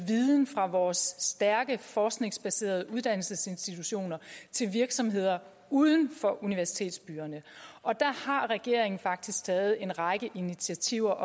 viden fra vores stærke forskningsbaserede uddannelsesinstitutioner til virksomheder uden for universitetsbyerne og der har regeringen faktisk taget en række initiativer